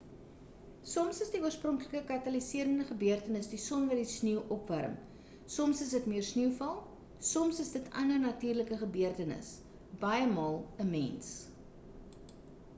soms is die oorspronklike kataliserende gebeurtenis die son wat die sneeu opwarm soms is dit meer sneeuval soms is dit ander natuurlike gebeurtenisse baiemaal 'n mens